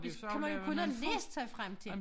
Det kan man jo kun have læst sig frem til